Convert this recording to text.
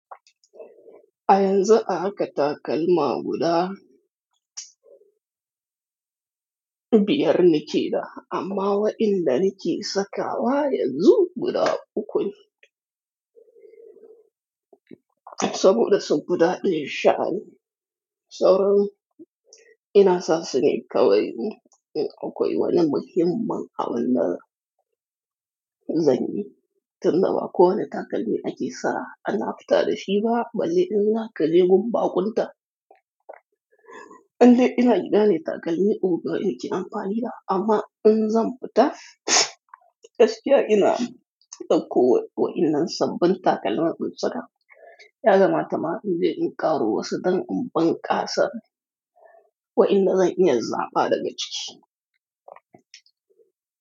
A yanzu aka takalma guda biyar nike da, amma wa illa nike sakawa yanzu guda uku ne. Saboda sun fi ɗaya sha'ani. Sauran ina sa sune kawai. In akwai wani muhimman abun da zan yi, tun da wa ko wane takalmi ake sa ana fita da shi ba, balle in za ka yi gun baƙunta. Indai ina guda ne takalmi tsohuwa ne amfani da, amma in zan fita gaskiya ina ɗauko wa illan sabbin takalma mun saka. Ya kamata ma inje in ƙaro wasu don in bunƙasa wayanada zan iya zaba daga ciki.